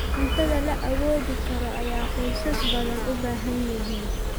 Cunto la awoodi karo ayaa qoysas badan u baahan yihiin.